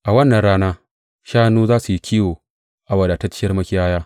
A wannan rana shanu za su yi kiwo a wadatacciyar makiyaya.